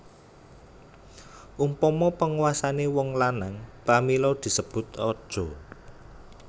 Umpama panguasané wong lanang pramila disebut raja